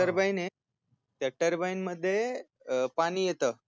TURBINE त्या TURBINE मध्ये अह पानी येत